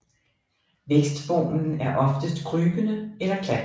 Vækstformen er oftest krybende eller klatrende